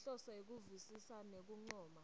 ngenhloso yekuvisisa nekuncoma